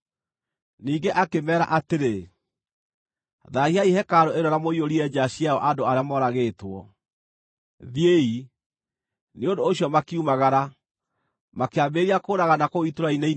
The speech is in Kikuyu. Ningĩ akĩmeera atĩrĩ, “Thaahiai hekarũ ĩno na mũiyũrie nja ciayo andũ arĩa moragĩtwo. Thiĩi!” Nĩ ũndũ ũcio makiumagara, makĩambĩrĩria kũũragana kũu itũũra-inĩ inene.